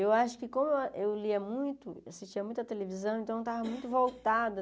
Eu acho que como eu lia muito, assistia muita televisão, então eu estava muito voltado.